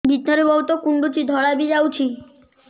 ଭିତରେ ବହୁତ କୁଣ୍ଡୁଚି ଧଳା ବି ଯାଉଛି